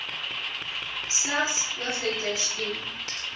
slegs hoofletters dien